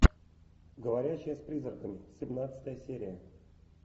говорящая с призраками семнадцатая серия